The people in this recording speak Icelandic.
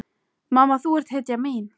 Mamma, þú ert hetjan mín.